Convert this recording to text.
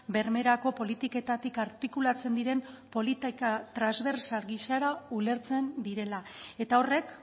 bermerako politiketatik artikulatzen diren politika transbertsal gisara ulertzen direla eta horrek